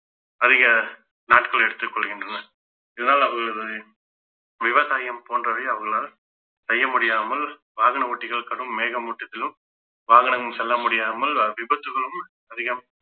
அதிக நாட்கள் எடுத்துக் கொள்கின்றனர் இதனால் அவர்களது விவசாயம் போன்றவை அவர்களால் செய்ய முடியாமல் வாகன ஓட்டிகள் கடும் மேகமூட்டத்திலும் வாகனம் செல்ல முடியாமல் அஹ் விபத்துகளும் அதிகம்